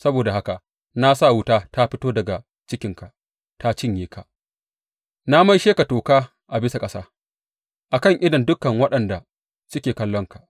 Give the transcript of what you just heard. Saboda haka na sa wuta ta fito daga cikinka, ta cinye ka, na maishe ka toka a bisa ƙasa a kan idon dukan waɗanda suke kallonka.